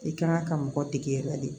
I kan ka mɔgɔ dege yɛrɛ de